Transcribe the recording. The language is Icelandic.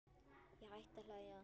Ég hætti að hlæja.